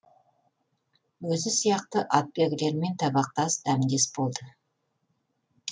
өзі сияқты атбегілермен табақтас дәмдес болды